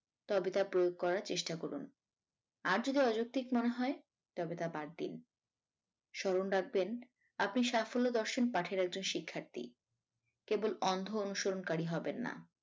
তবে তা প্রয়োগ করার চেষ্টা করুন আর যদি অযৌক্তিক মনে হয় তবে তা বাদ দিন স্মরণ রাখবেন আপনি সাফল্য দর্শন পাঠের একজন শিক্ষার্থী কেবল অন্ধ অনুসরণকারী হবেন না